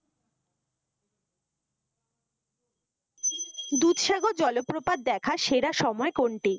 দুধসাগর জলপ্রপাত দেখার সেরা সময় কোনটি?